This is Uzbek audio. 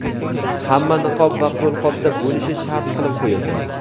hamma niqob va qo‘lqopda bo‘lishi shart qilib qo‘yildi.